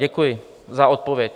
Děkuji za odpověď.